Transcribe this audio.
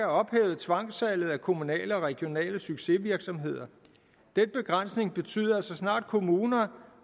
ophævet tvangssalget af kommunale og regionale succesvirksomheder den begrænsning betyder at så snart kommuner